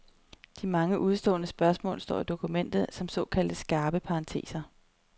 De mange udestående spørgsmål står i dokumentet som såkaldte skarpe parenteser.